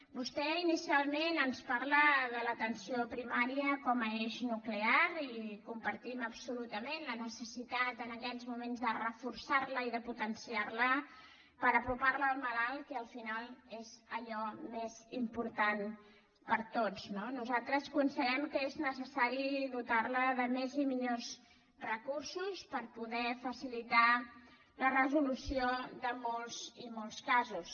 vostè inicialment ens parla de l’atenció primària com a eix nuclear i compartim absolutament la necessitat en aquests moments de reforçar la i potenciar la per apropar la al malalt que al final és allò més important per a tots no nosaltres considerem que és necessari dotar la de més i millors recursos per poder facilitar la resolució de molts i molts casos